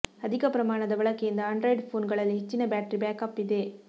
ಅಧಿಕ ಪ್ರಮಾಣದ ಬಳಕೆಯಿಂದ ಆಂಡ್ರಾಯ್ಡ್ ಫೋನ್ ಗಳಲ್ಲಿ ಹೆಚ್ಚಿನ ಬ್ಯಾಟರಿ ಬ್ಯಾಕಪ್ ಇದೆ